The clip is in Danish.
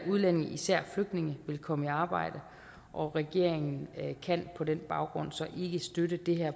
udlændinge især flygtninge vil komme i arbejde og regeringen kan på den baggrund så ikke støtte det her